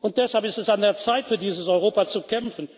Und deshalb ist es an der Zeit, für dieses Europa zu kämpfen.